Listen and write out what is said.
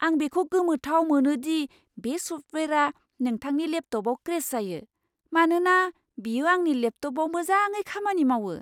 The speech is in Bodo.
आं बेखौ गोमोथाव मोनो दि बे सफ्टवेयारआ नोंथांनि लेपटपआव क्रेश जायो, मानोना बेयो आंनि लेपटपआव मोजाङै खामानि मावो।